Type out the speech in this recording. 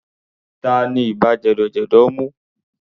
Tani ibà jẹ̀dọ̀jẹ̀dọ̀ mú?